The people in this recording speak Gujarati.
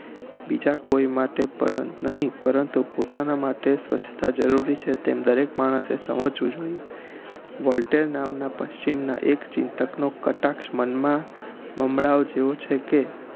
બીજા કોઈ માટે નહિ પરંતુ પોતાના માટે સ્વચ્છતા જરૂરી છે તેમ દરેક માણસે સમજવું જોઈએ વોલ્ટર નામનાં પશ્ચિમનાં એક ચિંતક નો કટાક્ષ મન માં જેવો છે કે